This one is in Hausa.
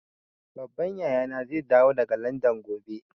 Babban yaya na zai dawo daga Landan gobe